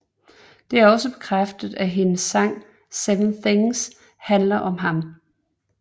Det er også bekræftet at hendes sang 7 Things handler om ham